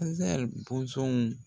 bɔnsɔnw